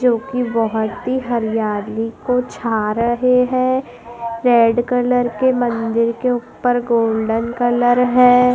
जो कि बहोत ही हरियाली को छा रहे हैं रेड कलर के मंदिर के ऊपर गोल्डन कलर है।